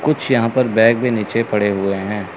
कुछ यहां पर बैग भी नीचे पड़े हैं।